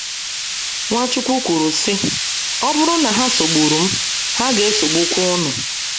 Nwachukwu kwuru, sị: “ Ọ bụrụ na ha sogburu m, ha ga - esogbukwa unu. ”